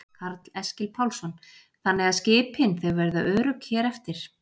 Karl Eskil Pálsson: Þannig að skipin þau verða örugg hér eftir?